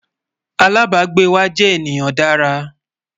alábágbé wà jé ènìyàn Dára